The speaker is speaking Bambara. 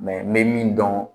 n bɛ min dɔn